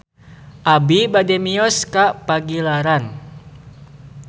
Abi bade mios ka Pagilaran